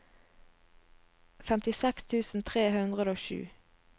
femtiseks tusen tre hundre og sju